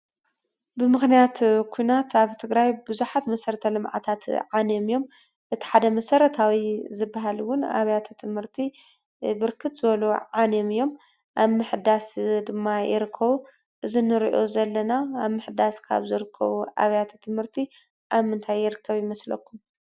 ብሞኽንያት ኩናት ኣብ ትግራይ ብዙሓት መሰረት ልምዓታት ዓንዮም እዮም። እቲ ሓደ መሰረታዊ ዝበሃል እውን ኣብያተ ትምህርቲ ብርክት ዝበሉ ዓንዮም እዮም። ኣብ ምሕዳስ ድማ ይርከቡ። እዚ ንሪኦ ዘለና ኣብ ምሕዳስ ካብ ዝርከቡ ኣብያተ ትምርቲ ኣብ ምንታይ ይርከብ ይመስለኩም ?